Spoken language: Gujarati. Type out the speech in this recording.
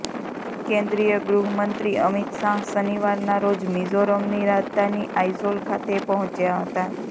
કેન્દ્રીય ગૃહમંત્રી અમિત શાહ શનિવારના રોજ મિઝોરમની રાજધાની આઈઝોલ ખાતે પહોંચ્યા હતા